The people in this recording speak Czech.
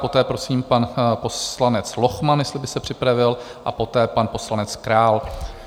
Poté prosím pan poslanec Lochman, jestli by se připravil, a poté pan poslanec Král.